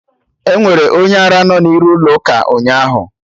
Enwere onye ara no n'iru ụlọ ụka ụnyaahụ